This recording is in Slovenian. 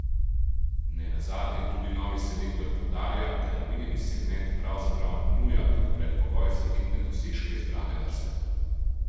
Ne nazadnje tudi novi selektor poudarja, da je omenjeni segment pravzaprav nuja kot predpogoj za vidne dosežke izbrane vrste.